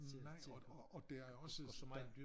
Nej og og der er også der